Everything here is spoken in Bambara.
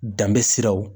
Danbisi siraw